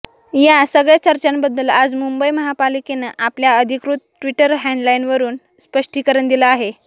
या सगळ्या चर्चांबद्दल आज मुंबई महापालिकेनं आपल्या अधिकृत ट्विटर हॅँडलवरून स्पष्टीकरण दिलं आहे